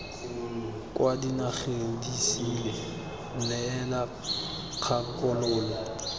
kwa dinageng disele neela kgakololo